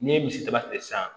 N'i ye misidaba tigɛ sisan